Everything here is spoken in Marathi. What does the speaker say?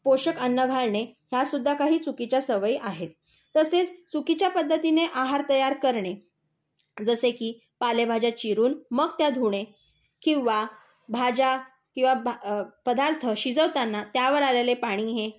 पोषक अन्न घालणे, ह्या सुद्धा काही चुकीच्या सवयी आहेत. तसेच चुकीच्या पध्दतीने आहार तयार करणे जसे की पालेभाज्या चिरून मग त्या धुणे, किंवा भाज्या किंवा पदार्थ शिजवताना त्यावर आलेले पाणी